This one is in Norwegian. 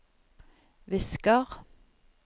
visker